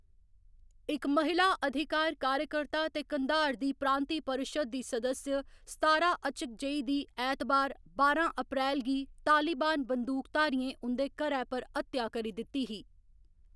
इक महिला अधिकार कार्यकर्ता ते कंधार दी प्रांतीय परिशद दी सदस्य सतारा अचकजई दी ऐतबार, बारां अप्रैल गी तालिबान बंदूकधारियें उं'दे घरै पर हत्या करी दित्ती ही।